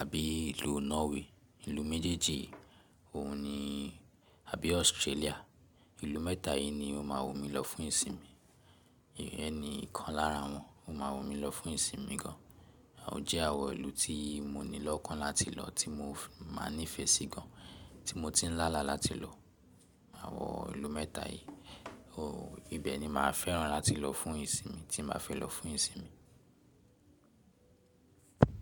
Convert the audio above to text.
àbí ìlú Norway. Ìlú méjèèjì òun ni àbí Australia. Ìlú mẹ́ta yìí ni ó máa wù mí lọ fún ìsinmi. Ìyẹ́n ni ìkan lára wọn ó máa wù mí lọ fún ìsinmi gan. Àwọn jẹ́ àwọn ìlú tí mo ní lọ́kàn láti lọ, tí mo máa nífẹ̀ẹ́ sí gan, tí mo ti ń lála láti lọ. Àwọn ìlú mẹ́ta yìí, òwò ibẹ̀ ni máa fẹ́ràn láti lọ fún ìsinmi tí màá fẹ́ lọ fún ìsinmi.